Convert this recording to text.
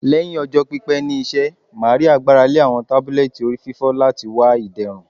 Lẹhin ọjọ pipẹ ni iṣẹ, Maria gbarale awọn tabulẹti orififo lati wa iderun